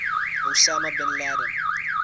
osama bin laden